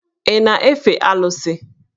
Ị na-efe Alụsị?